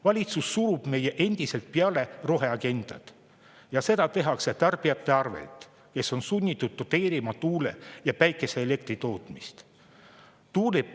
Valitsus surub meile endiselt peale roheagendat ja seda tehakse tarbijate arvelt, kes on sunnitud tuule- ja päikeseelektri tootmist doteerima.